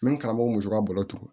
N bɛ n karamɔgɔ muso ka balo tugu